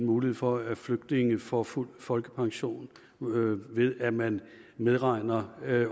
mulighed for at flygtninge får fuld folkepension ved at man medregner